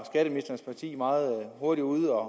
meget hurtigt ude